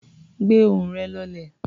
Gbé ohùn rẹ̀ lọlẹ̀.